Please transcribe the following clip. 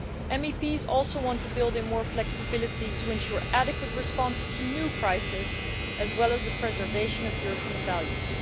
MEPs also want to build in more flexibility to ensure adequate responses to new crises, as well as the preservation of European values.